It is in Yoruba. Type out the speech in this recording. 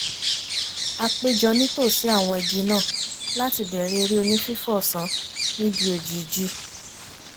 a péjọ nítòsí àwọn igi náà láti bẹ̀rẹ̀ eré onífífò ọ̀sán níbi òjìjí